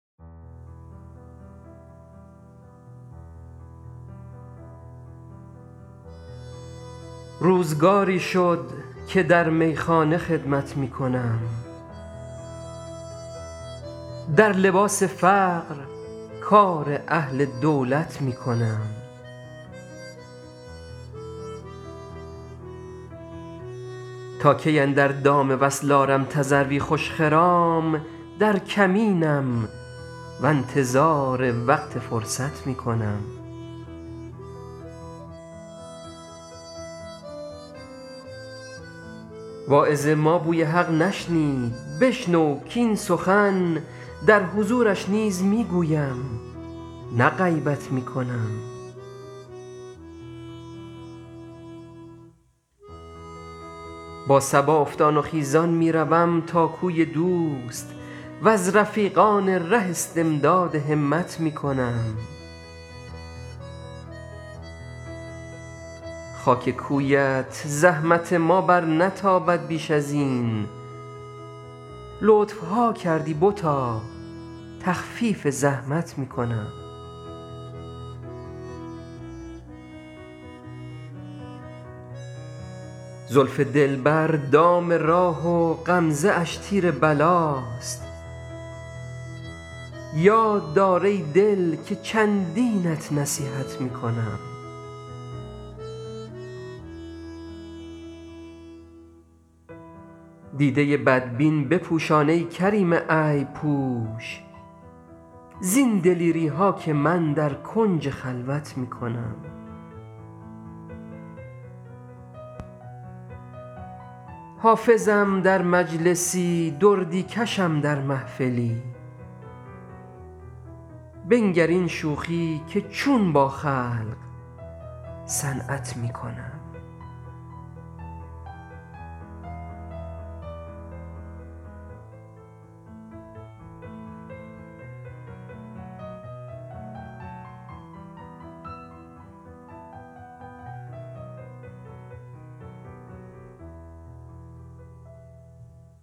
روزگاری شد که در میخانه خدمت می کنم در لباس فقر کار اهل دولت می کنم تا کی اندر دام وصل آرم تذروی خوش خرام در کمینم و انتظار وقت فرصت می کنم واعظ ما بوی حق نشنید بشنو کاین سخن در حضورش نیز می گویم نه غیبت می کنم با صبا افتان و خیزان می روم تا کوی دوست و از رفیقان ره استمداد همت می کنم خاک کویت زحمت ما برنتابد بیش از این لطف ها کردی بتا تخفیف زحمت می کنم زلف دلبر دام راه و غمزه اش تیر بلاست یاد دار ای دل که چندینت نصیحت می کنم دیده بدبین بپوشان ای کریم عیب پوش زین دلیری ها که من در کنج خلوت می کنم حافظم در مجلسی دردی کشم در محفلی بنگر این شوخی که چون با خلق صنعت می کنم